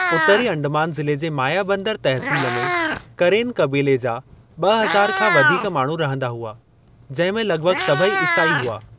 उतरी अंडमान ज़िले जे मायाबंदर तहसील में करेन क़बीले जा ॿ हज़ार खां वधीक माण्हू रहंदा हुआ, जहिं में लॻिभॻि सभई इसाई हुआ।